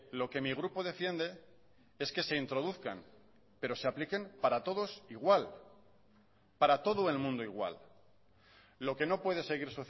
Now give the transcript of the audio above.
lo que mi grupo defiende es que se introduzcan pero se apliquen para todos igual para todo el mundo igual lo que no puede seguir